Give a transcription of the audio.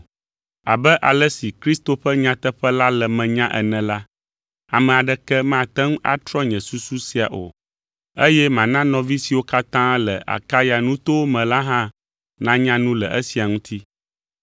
Abe ale si Kristo ƒe nyateƒe la le menye ene la, ame aɖeke mate ŋu atrɔ nye susu sia o, eye mana nɔvi siwo katã le Akaya nutowo me la hã nanya nu le esia ŋuti.